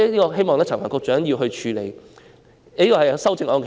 我希望陳帆局長可以處理此事。